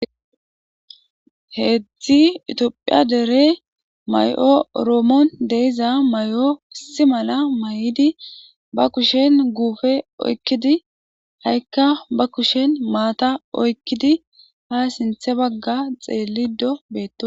Hezhi tophiya dere mayo oromon de'iza mayo issi mala mayid ba kushen gupe oykid ha'ka be kushen mata oykid ha sinthe baga xelido betosona